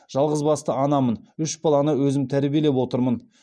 жалғызбасты анамын үш баланы өзім тәрбиелеп отырмын